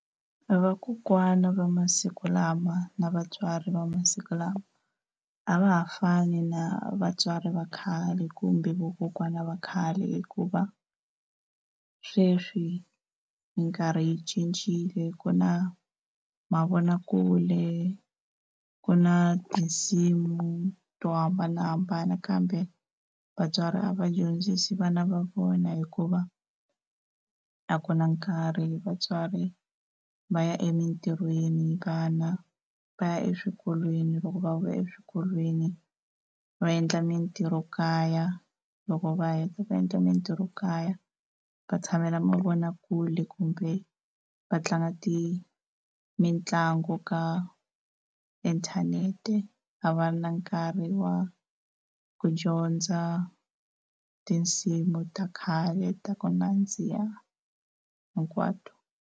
Vakokwana va masiku lama na vatswari va masiku lama a va ha fani na vatswari va khale kumbe vakokwana va khale, hikuva sweswi minkarhi yi cincile ku na mavonakule, ku na tinsimu to hambanahambana kambe vatswari a va dyondzisi vana va vona hikuva a ku na nkarhi vatswari va ya emintirhweni vana va ya eswikolweni loko va vuya eswikolweni va endla mintirhokaya, loko va heta ku endla mintirhokaya va tshamela mavonakule kumbe va tlanga mitlangu ka inthanete a va na nkarhi wa ku dyondza tinsimu ta khale ta ku nandziha hinkwato.